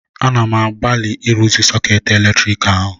Ana m agbalị ịrụzi sọkeetị eletrik ahụ